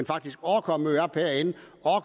faktisk overkommer at møde op herinde